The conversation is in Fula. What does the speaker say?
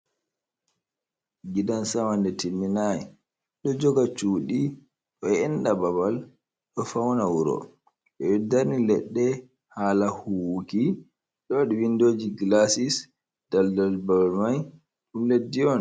Gidan sama ɗum timmi nai, ɗo joga cuɗi, ɗo enɗa babal, ɗo fauna wuro, ɓe ɗo darni leɗɗe hala Hu wuki ɗon windoji glasis daldal babal mai ɗum leddi on.